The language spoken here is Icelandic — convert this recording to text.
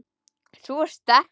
Sú er sterk, maður!